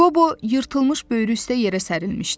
Qobo yırtılmış böyrü üstə yerə sərilmişdi.